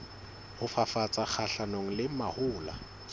ho fafatsa kgahlanong le mahola